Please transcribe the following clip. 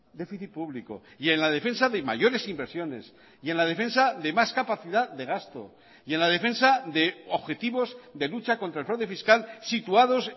déficit público y en la defensa de mayores inversiones y en la defensa de más capacidad de gasto y en la defensa de objetivos de lucha contra el fraude fiscal situados